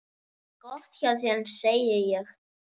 Gott hjá þér, segi ég.